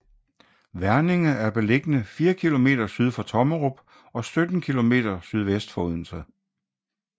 Verninge er beliggende fire kilometer syd for Tommerup og 17 kilometer sydvest for Odense